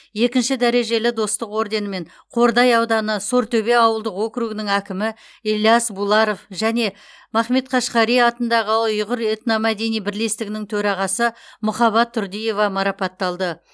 екінші дәрежелі достық орденімен қордай ауданы сортөбе ауылдық округінің әкімі ілияс буларов және махмет қашқари атындағы ұйғыр этномәдени бірлестігінің төрағасы мұхабат тұрдыева марапатталды